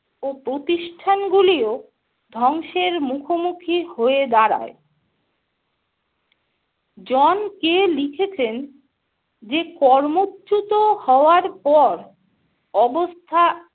ও প্রতিষ্ঠানগুলিও ধ্বংসের মুখোমুখি হয়ে দাঁড়ায়। জন কে লিখেছেন যে কর্মচ্যুত হওয়ার পর অবস্থা